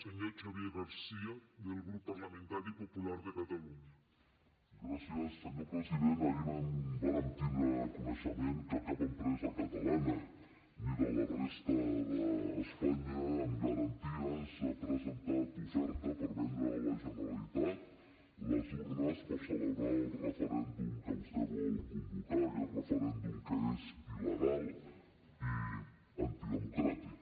senyor president ahir vàrem tindre coneixement que cap empresa catalana ni de la resta d’espanya amb garanties ha presentat oferta per vendre a la generalitat les urnes per celebrar el referèndum que vostè vol convocar aquest referèndum que és il·legal i antidemocràtic